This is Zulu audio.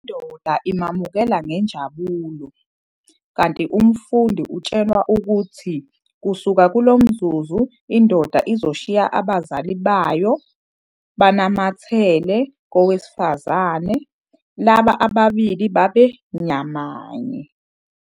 Indoda imamukela ngenjabulo, kanti umfundi utshelwa ukuthi kusuka kulo mzuzu indoda izoshiya abazali bayo "banamathele" kowesifazane, laba ababili baba nyamanye.